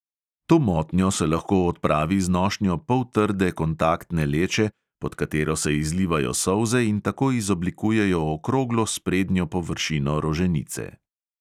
To motnjo se lahko odpravi z nošnjo poltrde kontaktne leče, pod katero se izlivajo solze in tako izoblikujejo okroglo sprednjo površino roženice.